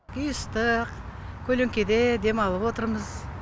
үй ыстық көлеңкеде демалып отырмыз